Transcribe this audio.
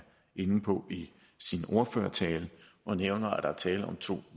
inde på i sin ordførertale han nævner at der er tale om to